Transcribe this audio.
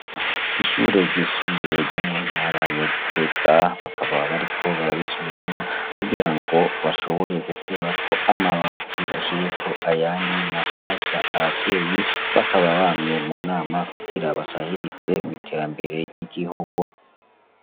Ishure ryisumbuye ryo muntara ya gitega bakaba bariko bararisubiramwo kugirango bashobore gukorako amabati bashireko ayandi mashasha abavyeyi bakaba bamye munama kugira basahirize mwiterambere ry' igihugu.